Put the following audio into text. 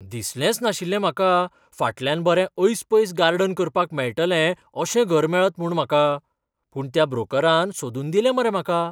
दिसलेंच नाशिल्लें म्हाका फाटल्यान बरें ऐसपैस गार्डन करपाक मेळटलें अशें घर मेळत म्हूण म्हाका. पूण त्या ब्रोकरान सोदून दिलें मरे म्हाका.